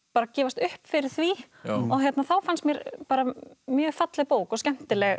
gefast upp fyrir því og þá fannst mér bara mjög falleg bók og skemmtileg